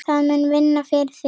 Það mun vinna fyrir þig.